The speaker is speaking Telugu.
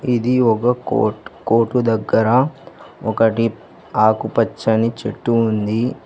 ఇది ఒక కోర్ట్ కోర్టు దగ్గర ఒకటి ఆకుపచ్చని చెట్టు ఉంది.